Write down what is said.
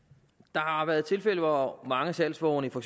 der har været tilfælde hvor mange salgsvogne i for